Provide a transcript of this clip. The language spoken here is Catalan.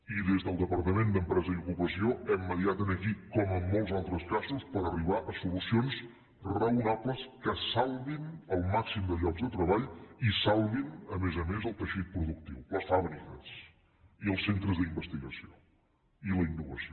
i des del departament d’empresa i ocupació hem mediat aquí com en mols altres casos per arribar a solucions raonables que salvin el màxim de llocs de treball i salvin a més a més el teixit productiu les fàbriques i els centres d’investigació i la innovació